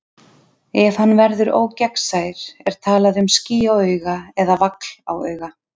Ef hann verður ógegnsær er talað um ský á auga eða vagl á auga.